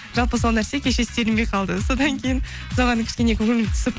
жалпы сол нәрсе кеше істелінбей қалды содан кейін соған кішкене көңілім түсіп